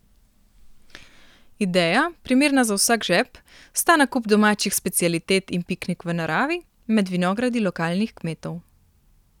Ideja, primerna za vsak žep, sta nakup domačih specialitet in piknik v naravi, med vinogradi lokalnih kmetov.